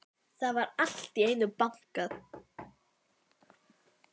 Það var allt í einu bankað.